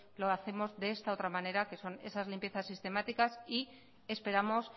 lo hacemos de esta otra manera que son esas limpiezas sistemáticas y esperamos